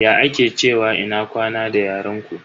Ya ake cewa ina kwana da yaren ku?